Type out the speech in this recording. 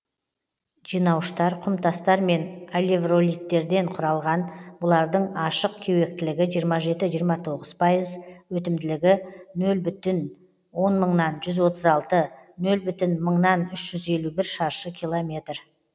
жинауыштар құмтастар мен алевролиттерден құралған бұлардың ашық кеуектілігі жиырма жеті жиырма тоғыз пайыз өтімділігі нөл бүтін он мыңнан жүз отыз алты нөл бүтін мыңнан үш жүз елу бір шаршы километр